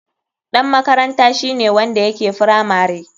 Ɗan makaranta shine wanda yake firamare.